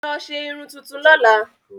Lọ ṣe irun tuntun lọ́la!